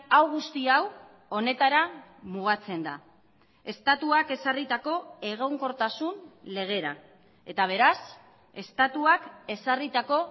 hau guzti hau honetara mugatzen da estatuak ezarritako egonkortasun legera eta beraz estatuak ezarritako